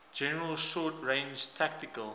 general short range tactical